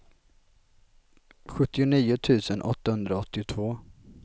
sjuttionio tusen åttahundraåttiotvå